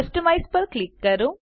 customise પર click કરો